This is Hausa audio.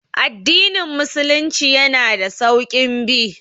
Addinin musulunci yana da sauƙin bi